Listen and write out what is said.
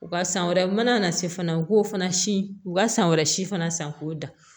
U ka san wɛrɛ u mana na se fana u k'o fana si u ka san wɛrɛ si fana san k'o dan